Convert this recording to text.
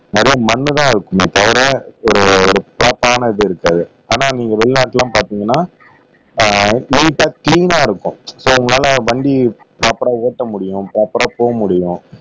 நிறைய மண்ணுதான் இருக்குமே தவிர வேறு ஒரு ப்ராப்பரான இது இருக்காது ஆனா நீங்க வெளிநாட்டுல எல்லாம் பார்த்தீங்கன்னா ஆஹ் நீட்டா கிளீனா இருக்கும் சோ உங்களால வண்டி ப்ராப்பரா ஓட்ட முடியும் ப்ராப்பரா போக முடியும்